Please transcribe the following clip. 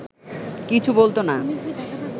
কিছু বলত না